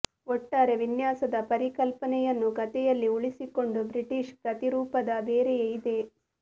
ಒಟ್ಟಾರೆ ವಿನ್ಯಾಸದ ಪರಿಕಲ್ಪನೆಯನ್ನು ಕಥೆಯಲ್ಲಿ ಉಳಿಸಿಕೊಂಡು ಬ್ರಿಟಿಷ್ ಪ್ರತಿರೂಪದ ಬೇರೆಯೇ ಇದೆ